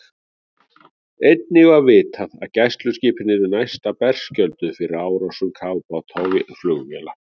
Einnig var vitað, að gæsluskipin yrðu næsta berskjölduð fyrir árásum kafbáta og flugvéla.